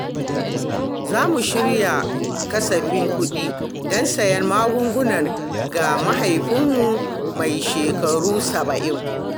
Zamu shirya kasafin kuɗi don sayen magunguna ga mahaifinmu mai shekaru saba'in.